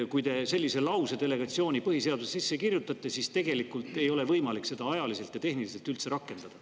Te küll kirjutate sellise lause delegeerimise kohta põhiseadusesse sisse, aga tegelikult ei ole võimalik seda piisava kiirusega tehniliselt üldse rakendada.